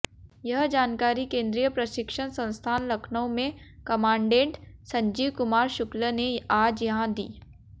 यह जानकारी केन्द्रीय प्रशिक्षण संस्थान लखनऊ में कमाण्डेंट संजीव कुमार शुक्ल ने आज यहां दी